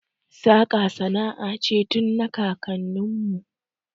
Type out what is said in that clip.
Saƙa sana'a ce tun na kakanni mu